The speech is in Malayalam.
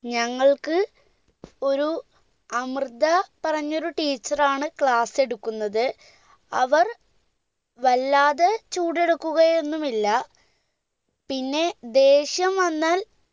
ഞങ്ങൾക്ക് ഒരു അമൃത പറഞ്ഞൊരു teacher ആണ് class എടുക്കുന്നത് അവർ വല്ലാതെ ചൂടെടുക്കുകയൊന്നുമില്ല പിന്നെ ദേഷ്യം വന്നാൽ